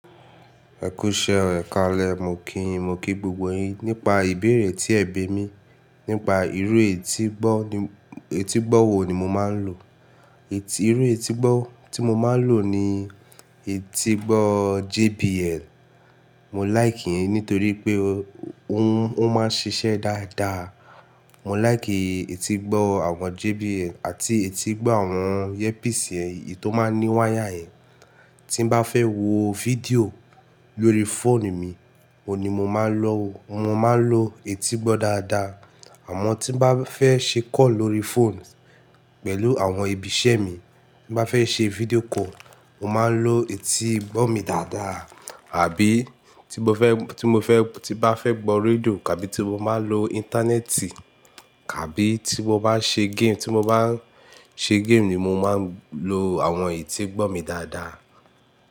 Ẹkú iṣẹ́ rẹ, ekalẹ́, mo kí yin, mo kí gbogbo yin, nípa ìbéèrè tí ẹ bé mi nípa irú eti gbo etígbọ́ wo ni mo máa ń lò. Irú etígbọ́ tí mo máa ń lò ni etígbọ́ JBL. Mo like iyen nítorí pé ó máa ń ṣiṣẹ́ dáadáa. Mo like etígbọ́ àwọn JBL àti etígbọ́ àwọn earpiece ẹ, èyí tó máa ń ní wire yen. Tí n bá fẹ́ wo video lórí phone mi, òun ni mo máa lò. Mo máa ń lò etígbọ́ dáadáa. Àmọ́ tí mo bá fẹ́ ṣe call lórí phone pẹ̀lú àwọn ibi iṣẹ́ mi, tí mo bá fẹ́ ṣe video call, mo máa ń lò etígbọ́ mi dáadáa. Àbí tí mo fẹ́, tí mo fẹ́, tí bá fẹ́ gbọ́ radíò tàbí tí mo maa ń lo ìntánẹ́ẹ̀tì kàbí tí mo bá ń ṣe game, tí mo bá ń ṣe game ni mo máa ń lò àwọn etígbọ́ mi dáadáa.